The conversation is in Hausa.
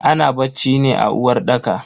Ana bacci ne a uwarɗaka.